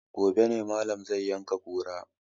Gobe ne malam zai yanka kura